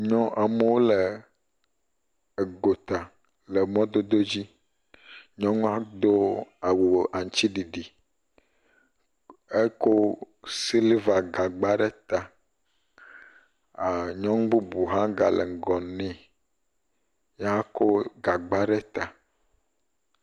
Nyɔ, ame aɖewo le gota le mɔdodod dzi, nyɔnua do awu aŋutiɖiɖi, eko silva gagba ɖe ta, nyɔnu bubu hã gale ŋgɔ nɛ, ye hã kɔ gagba ɖe ta.